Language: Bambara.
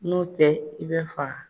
N'o tɛ i bɛ faga.